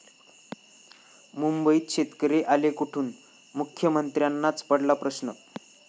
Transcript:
मुंबईत शेतकरी आले कुठून? मुख्यमंत्र्यांनाच पडला प्रश्न!